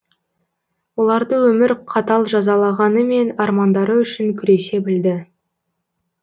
оларды өмір қатал жазалағанымен армандары үшін күресе білді